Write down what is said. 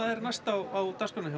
næst á dagskránni hjá